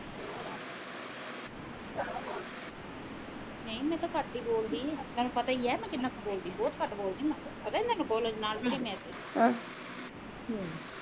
ਨਹੀਂ ਮੈ ਤਾ ਘੱਟ ਈ ਬੋਲਦੀ ਤੈਨੂੰ ਪਤਾ ਈ ਏ ਮੈ ਕਿੰਨਾ ਕ ਬੋਲਦੀ ਬਹੁਤ ਘੱਟ ਆ ਮੈ ਪਤਾ ਨਹੀਂ ਤੈਨੂੰ ਨੋਰਮਲੀ ਮੈ